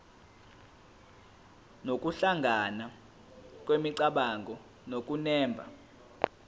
nokuhlangana kwemicabango nokunemba